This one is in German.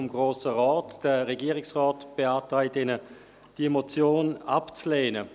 Der Regierungsrat beantragt Ihnen, diese Motion abzulehnen.